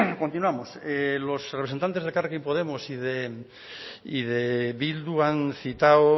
continuamos los representantes de elkarrekin podemos y de bildu han citado